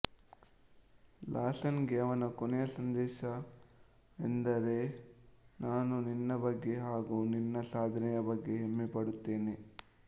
Larsen ಗೆ ಅವನ ಕೊನೆಯ ಸಂದೇಶವೆಂದರೆನಾನು ನಿನ್ನ ಬಗ್ಗೆ ಹಾಗು ನಿನ್ನ ಸಾಧನೆಯ ಬಗ್ಗೆ ಹೆಮ್ಮೆಪಡುತ್ತೇನೆ